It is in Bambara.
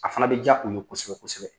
A fana bɛ diya u ye kosɛbɛ kosɛbɛ